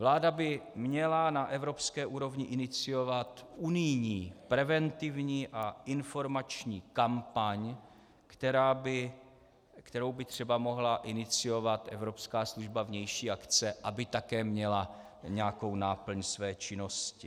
Vláda by měla na evropské úrovni iniciovat unijní preventivní a informační kampaň, kterou by třeba mohla iniciovat Evropská služba vnější akce, aby také měla nějakou náplň své činnosti.